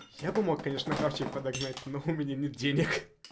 я бы мог конечно хавчик подогнать но у меня нет денег